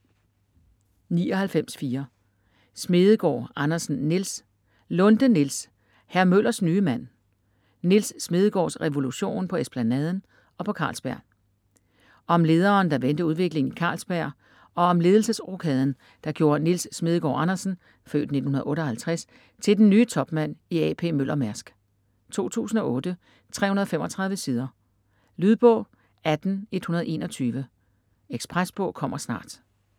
99.4 Smedegaard Andersen, Nils Lunde, Niels: Hr. Møllers nye mand : Nils Smedegaards revolution på Esplanaden - og på Carlsberg Om lederen, der vendte udviklingen i Carlsberg og om ledelsesrokaden, der gjorde Nils Smedegaard Andersen (f. 1958) til den nye topmand i A.P. Møller-Mærsk. 2008, 335 sider. Lydbog 18121 Ekspresbog - kommer snart